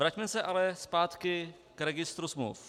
Vraťme se ale zpátky k registru smluv.